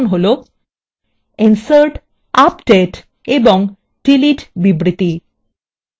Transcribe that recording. insert update এবং delete বিবৃতি